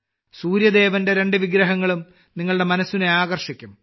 സൂര്യദേവന്റെ രണ്ട് വിഗ്രഹങ്ങളും നിങ്ങളുടെ മനസ്സിനെ ആകർഷിക്കും